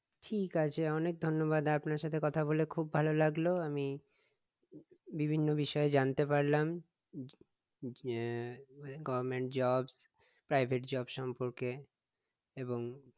ঠিক আছে অনেক ধন্যবাদ আপনার সাথে কথা বলে খুব ভালো লাগলো আমি বিভিন্ন বিষয়ে জানতে পারলাম আহ মানে government job private job সম্পর্কে এবং